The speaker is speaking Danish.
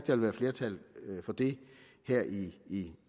vil være flertal for det her i